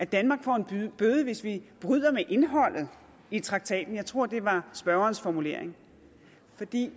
danmark får en bøde hvis vi bryder med indholdet i traktaten jeg tror det var spørgerens formulering